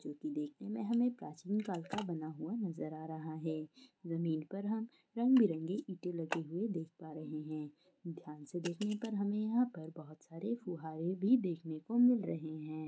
जोकि देखने में हमे प्राचीन काल का बना हुआ नजर आ रहा है ज़मीन पर हम रंग बिरंगी ईंटे लगी हुई देख पा रहें हैं ध्यान से देखने पर हमे यह पर बोहोत सारे फुव्वारे भी देखने को मिल रहें हैं।